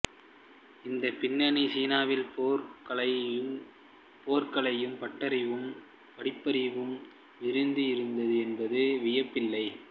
இந்த பின்னணியில் சீனாவின் போர்க்கலைப் பட்டறிவும் படிப்பறிவும் விரிந்து இருந்தது என்பதில் வியப்பில்லை